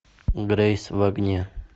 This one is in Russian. грейс в огне